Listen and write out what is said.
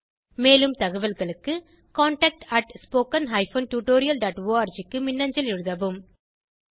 மேலும் தகவல்களுக்கு contactspoken tutorialorg க்கு மின்னஞ்சல் எழுதவும்